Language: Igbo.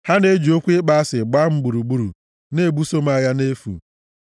Ha na-eji okwu ịkpọ asị gbaa m gburugburu; na-ebuso m agha nʼefu.